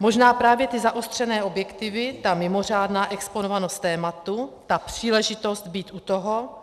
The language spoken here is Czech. Možná právě ty zaostřené objektivy, ta mimořádná exponovanost tématu, ta příležitost být u toho